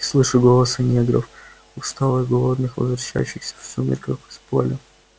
и слышу голоса негров усталых голодных возвращающихся в сумерках с поля